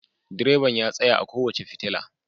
Direban ya tsaya a kowace fitila.